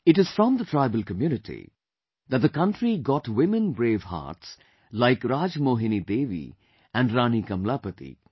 It is from the tribal community that the country got women brave hearts like RajMohini Devi and Rani Kamlapati